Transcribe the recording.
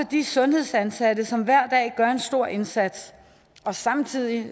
de sundhedsansatte som hver dag gør en stor indsats samtidig